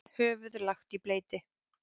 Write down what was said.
Höfuð lagt í bleyti.